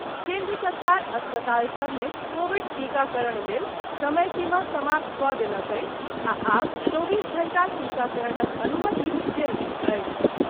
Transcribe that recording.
केन्द्र सरकार अस्पताल सबमे कोविड टीकाकरण लेल समय सीमा समाप्त कऽ देलक अछि आ आब चौबीस घण्टा टीकाकरणक अनुमति देल गेल अछि।